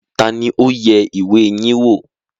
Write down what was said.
Ta ni ó yẹ ìwé yín wò?